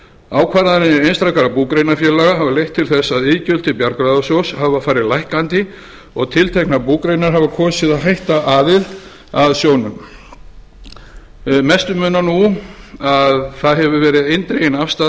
ákvarðanir einstakra búgreinafélaga hafa leitt til þess að iðgjöld til bjargráðasjóðs hafa farið lækkandi og tilteknar búgreinar hafa kosið að hætta aðild að sjóðnum mestu munar nú að það hefur verið eindregin afstaða